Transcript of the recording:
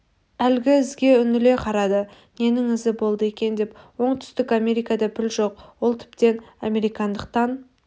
әлгі ізге үңіле қарады ненің ізі болды екен бірақ оңтүстік америкада піл жоқ ол тіптен американдықтан